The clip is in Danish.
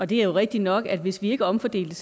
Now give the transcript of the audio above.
det er jo rigtig nok at hvis vi ikke omfordelte